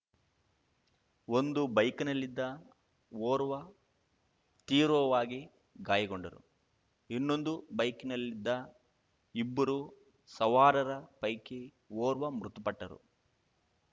ಒಂದು ಬೈಕಿನಲ್ಲಿದ್ದ ಓರ್ವ ತೀವ್ರವಾಗಿ ಗಾಯಗೊಂಡರು ಇನ್ನೊಂದು ಬೈಕಿನಲ್ಲಿದ್ದ ಇಬ್ಬರು ಸವಾರರ ಪೈಕಿ ಓರ್ವ ಮೃತಪಟ್ಟರು